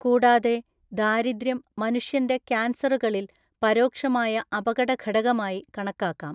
കൂടാതെ ദാരിദ്ര്യം മനുഷ്യന്‍റെ കാൻസറുകളിൽ പരോക്ഷമായ അപകടഘടകമായി കണക്കാക്കാം.